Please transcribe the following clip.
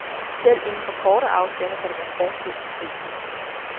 Selv inden for korte afstande kan der være forskel på prisen.